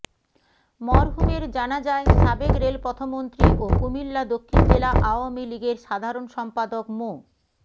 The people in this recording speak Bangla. মরহুমের জানাজায় সাবেক রেলপথমন্ত্রী ও কুমিল্লা দক্ষিণ জেলা আওয়ামী লীগের সাধারণ সম্পাদক মো